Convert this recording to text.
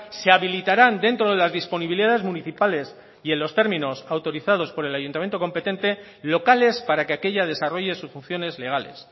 se habilitarán dentro de las disponibilidades municipales y en los términos autorizados por el ayuntamiento competente locales para que aquella desarrolle sus funciones legales